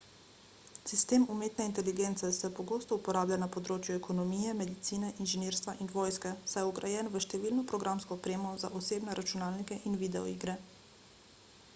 sistem umetne inteligence se pogosto uporablja na področju ekonomije medicine inženirstva in vojske saj je vgrajen v številno programsko opremo za osebne računalnike in videoigre